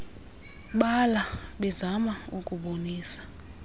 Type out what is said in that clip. bala bezama ukubonisa